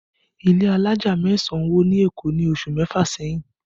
Ilé alájà mẹ́sàn wó ni Èkó ní oṣù mẹ́fà sẹ́yìn